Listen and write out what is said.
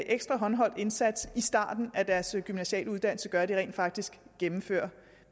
ekstra håndholdt indsats i starten af deres gymnasiale uddannelse gør at de rent faktisk gennemfører